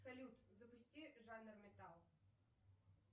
салют запусти жанр металл